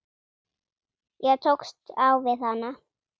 Ég tókst á við hana.